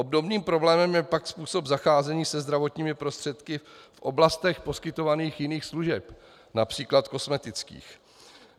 Obdobným problémem je pak způsob zacházení se zdravotními prostředky v oblastech poskytovaných jiných služeb, například kosmetických.